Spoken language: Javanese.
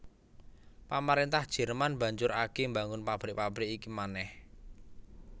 Pamaréntah Jerman banjur agé mbangun pabrik pabrik iki manèh